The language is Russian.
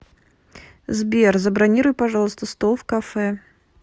сбер забронируй пожалуйста стол в кафе